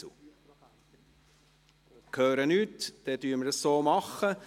– Ich höre nichts, wir gehen so vor.